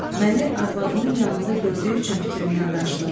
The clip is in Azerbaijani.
Məni arvadımın yanında gördüyü üçün fikrindən daşınıb.